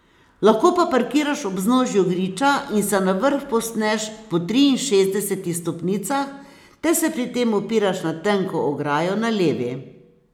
Lahko pa parkiraš ob vznožju griča in se na vrh povzpneš po triinšestdesetih stopnicah ter se pri tem opiraš na tenko ograjo na levi.